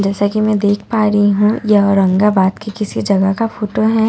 जैसा कि मैं देख पा रही हूं यह औरंगाबाद के किसी जगह का फोटो है यहां पे --